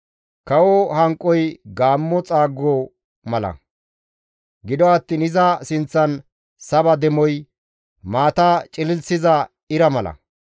Kawo hanqoy gaammo xaago mala; gido attiin iza sinththan saba demoy maata cililissiza ira mala.